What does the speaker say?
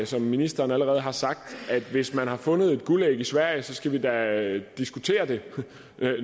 som ministeren allerede har sagt at hvis man har fundet et guldæg i sverige skal vi da diskutere det